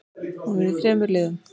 Hún er í þremur liðum.